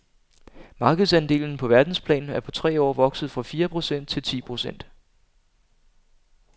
Markedsandelen på verdensplan er på tre år vokset fra fire procent til ti procent.